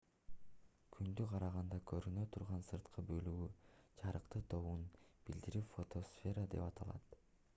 күндү караганда көрүнө турган сырткы бөлүгү жарыктын тобун билдирип фотосфера деп аталат